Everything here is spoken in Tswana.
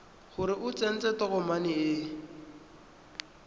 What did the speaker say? gore o tsentse tokomane e